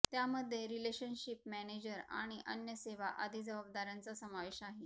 त्यामध्ये relationship manager आणि अन्य सेवा आदी जबाबदाऱ्यांचा समावेश आहे